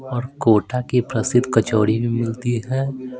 और कोटा की प्रसिद्ध कचौरी भी मिलती है।